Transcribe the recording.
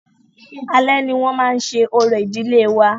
Alé ni wọ́n máa ṣe orò ìdílé wa..